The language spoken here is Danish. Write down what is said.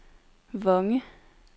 Vonge